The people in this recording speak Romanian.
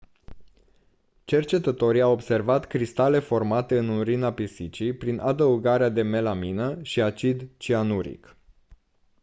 cercetătorii au observat cristale formate în urina pisicii prin adăugarea de melamină și acid cianuric